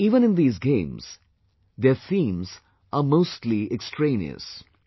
But even in these games, their themes are mostly extraneous